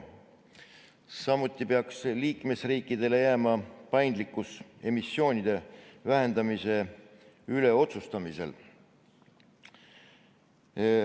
Samuti peaks liikmesriikidele jääma paindlikkus emissioonide vähendamise üle otsustamisel.